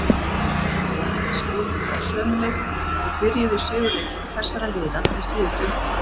Bæði lið spiluðu á sömu leikmönnum og byrjuðu í sigurleikjum þessara liða í síðustu umferð.